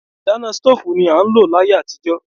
Ìdáná stóòfù ni a ń lò láyé àtijó.